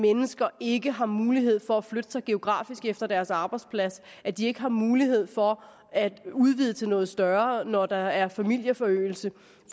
mennesker ikke har mulighed for at flytte sig geografisk efter deres arbejdsplads at de ikke har mulighed for at udvide til noget større når der er familieforøgelse